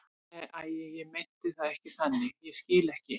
Nei, æi, ég meinti það ekki þannig, ég skil ekki.